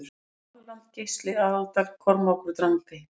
Norðurland Geisli Aðaldal Kormákur Drangey